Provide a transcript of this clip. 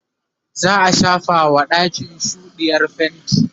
za'a shafa wa ɗakin shoɗiyar fainti